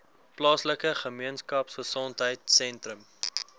plaaslike gemeenskapgesondheid sentrum